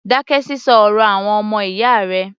Dákẹ́ sísọ ọ̀rọ̀ àwọn ọmọ ìyáwó rẹ̀!